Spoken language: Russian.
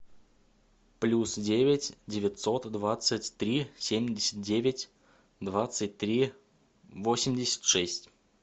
плюс девять девятьсот двадцать три семьдесят девять двадцать три восемьдесят шесть